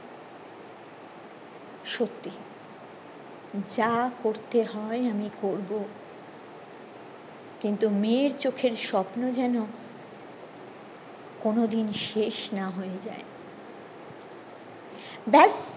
সত্যি যা করতে হয় আমি করব কিন্তু মেয়ের চোখের স্বপ্ন যেন কোনদিন শেষ না হয়ে যায় ব্যাস